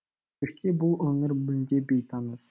көшке бұл өңір мүлде бейтаныс